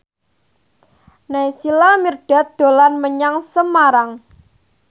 Naysila Mirdad dolan menyang Semarang